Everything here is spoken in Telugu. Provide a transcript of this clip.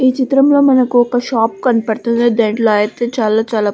ఈ చిత్రంలో మనకు ఒక షాప్ కనపడుతుంది. దింట్లో అయితే చాలా చాలా --